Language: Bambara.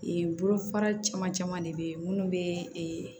bolofara caman caman de bɛ yen minnu bɛ